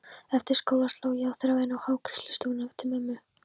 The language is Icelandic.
Eftir skóla sló ég á þráðinn á hárgreiðslustofuna til mömmu.